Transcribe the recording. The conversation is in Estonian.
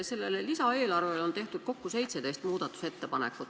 Selle lisaeelarve kohta on tehtud kokku 17 muudatusettepanekut.